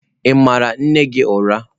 Ị mara nne gị ụra?